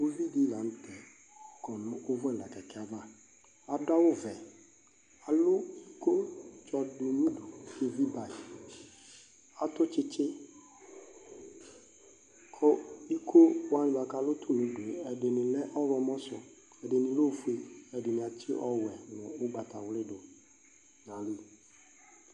Uvidila nʊtɛ kɔ nʊ ʊvʊɛla kɛkɛava Adʊ awʊvɛ Alʊ ikotsɔ dʊ nʊdʊ koevi bayi Atʊ tsitsi Kʊ ikowanɩ ba kalʊ tʊnʊdʊe ɛdɩnɩ lɛ ɔwlɔmɔsʊ Ɛdɩnɩ lɛofoe Ɛdɩnɩ atsi ɔwɔɛ nʊ ʊgbatawlɩ dʊ nʊayili